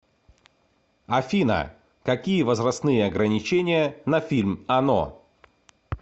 афина какие возрастные ограничения на фильм оно